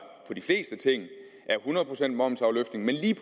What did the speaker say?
hundrede procent momsafløftning men lige